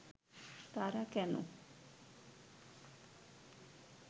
তারা কেন